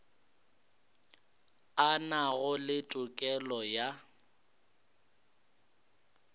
a nago le tokelo ya